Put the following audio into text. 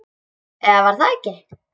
Eða var það ekki?